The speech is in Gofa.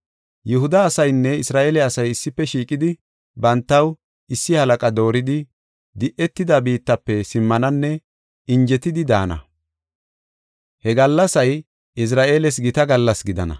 Yihuda asaynne Isra7eele asay issife shiiqidi bantaw issi halaqa dooridi di7etida biittafe simmananne injetidi daana. He gallasay Izra7eeles gita gallas gidana.